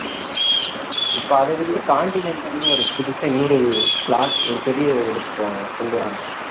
அஹ் இப்ப அத வச்சு continental னு ஒரு புதுசா இன்னொரு plot ஒரு பெரிய எடுக்கப் போறாங்களாம் கொண்டு வர்றாங்களாம்